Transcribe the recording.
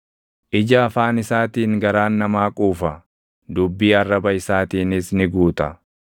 Ija afaan isaatiin garaan namaa quufa; dubbii arraba isaatiinis ni guuta.